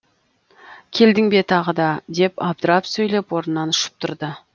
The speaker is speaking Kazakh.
келдің бе тағы да деп абдырап сөйлеп орнынан ұшып тұрды